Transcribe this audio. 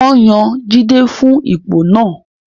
Wọ́n yan Jide fún ipò náà